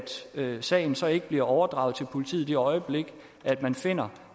sagen så ikke bliver overdraget til politiet i det øjeblik man finder